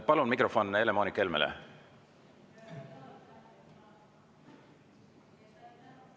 Palun mikrofon Helle-Moonika Helmele!